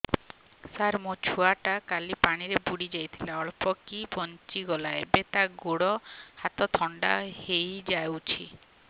ସାର ମୋ ଛୁଆ ଟା କାଲି ପାଣି ରେ ବୁଡି ଯାଇଥିଲା ଅଳ୍ପ କି ବଞ୍ଚି ଗଲା ଏବେ ତା ଗୋଡ଼ ହାତ ଥଣ୍ଡା ହେଇଯାଉଛି